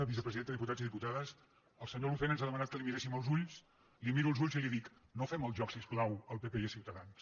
vicepresidenta diputats i dipu·tades el senyor lucena ens ha demanat que li mirés·sim als ulls li miro els ulls i li dic no fem el joc si us plau al pp i a ciutadans